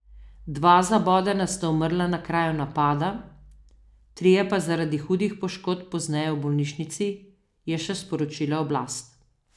Dva zabodena sta umrla na kraju napada, trije pa zaradi hudih poškodb pozneje v bolnišnici, je še sporočila oblast.